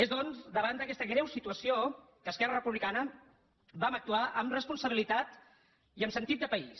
és doncs davant d’aquesta greu situació que esquerra republicana vam actuar amb responsabilitat i amb sentit de país